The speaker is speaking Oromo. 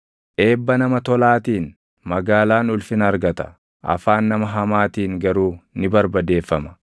Eebba nama tolaatiin magaalaan ulfina argata; afaan nama hamaatiin garuu ni barbadeeffama.